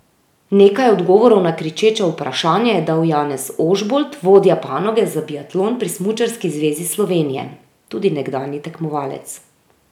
Nekaj odgovorov na kričeča vprašanja je dal Janez Ožbolt, vodja panoge za biatlon pri Smučarski zvezi Slovenije, tudi nekdanji tekmovalec.